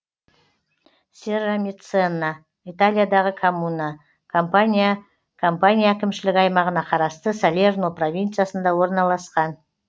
серрамеццана италиядағы коммуна кампания кампания әкімшілік аймағына қарасты салерно провинциясында орналасқан